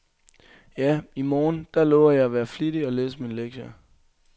Ja, i morgen, der lover jeg at være flittig og læse mine lektier.